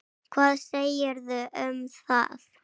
Hvað segirðu um það?